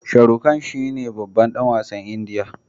Sharukhan shine babban dan wasn indiya